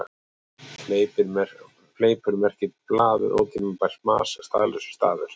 Fleipur merkir blaður, ótímabært mas, staðlausir stafir.